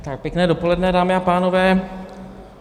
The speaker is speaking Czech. Pěkné dopoledne, dámy a pánové.